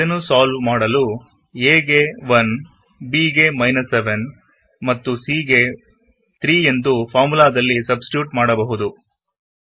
ಇದನ್ನು ಸಾಲ್ವ್ ಮಾಡಲು a ಗೆ 1 b ಗೆ 7 ಮತ್ತು c ಗೆ 3 ಎಂದು ಫಾರ್ಮುಲಾದಲ್ಲಿ ಸಬ್ಸ್ ಟಿಟ್ಯೂಟ್ ಮಾಡಬಹುದು